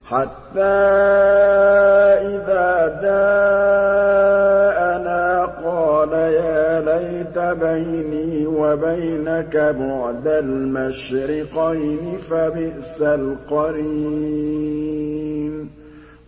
حَتَّىٰ إِذَا جَاءَنَا قَالَ يَا لَيْتَ بَيْنِي وَبَيْنَكَ بُعْدَ الْمَشْرِقَيْنِ فَبِئْسَ الْقَرِينُ